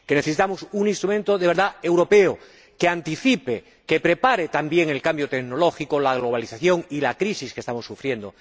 Que necesitamos un instrumento de verdad europeo, que anticipe, que prepare también el cambio tecnológico, la globalización y la crisis que estamos sufriendo.